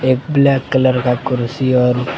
एक black colour का कुर्सी और--